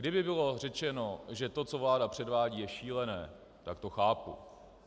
Kdyby bylo řečeno, že to, co vláda předvádí, je šílené, tak to chápu.